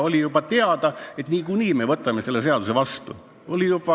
Oli juba teada, et niikuinii me võtame selle seaduse vastu.